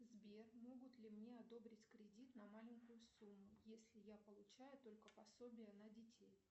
сбер могут ли мне одобрить кредит на маленькую сумму если я получаю только пособие на детей